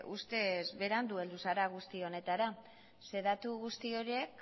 ustez berandu heldu zara guzti honetara zeren eta datu guzti horiek